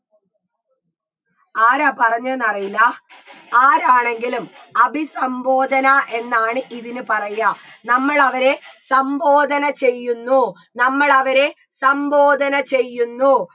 ആരാ പറഞ്ഞേന്ന് അറിയില്ല ആരാണെങ്കിലും അഭിസംബോധന എന്നാണ് ഇതിന് പറയ നമ്മളവരെ സംബോധന ചെയ്യുന്നു നമ്മളവരെ സംബോധന ചെയ്യുന്നു